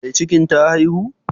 Mai cikin ta haihu?